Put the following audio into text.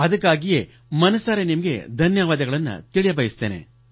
ಅದಕ್ಕಾಗಿಯೇ ಮನಸಾರೆ ನಿಮಗೆ ಧನ್ಯವಾದ ತಿಳಿಸಬಯಸುತ್ತೇನೆ